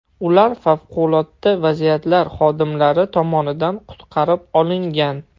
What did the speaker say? Ular favqulodda vaziyatlar xodimlari tomonidan qutqarib olingan .